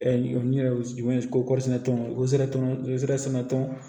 n yɛrɛ kosɛnɛ tɔn sera tɔnsɔn